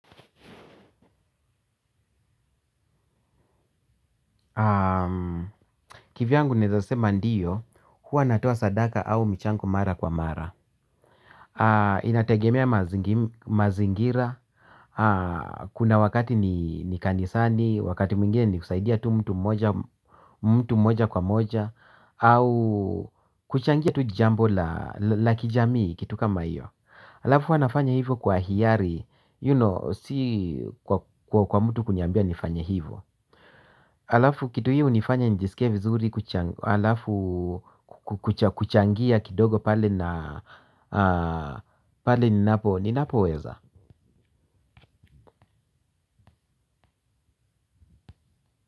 Ki vyangu naweza sema ndiyo, huwa natoa sadaka au michango mara kwa mara. Inategemea mazingira, kuna wakati ni kanisani, wakati mwingine ni kusaidia tu mtu moja kwa moja, au kuchangia tu jambo la kijamii kitu kama hiyo. Alafu huwa nafanya hivyo kwa hiari, you know, si kwa mtu kuniambia nifanye hivyo. Alafu kitu hiyo hunifanya nijisikie vizuri kuchangia kidogo pale ninapo weza.